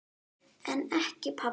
En ekki pabbi.